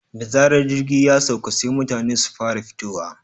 Da zarar jirgi ya sauka sai mutane su fara fitowa.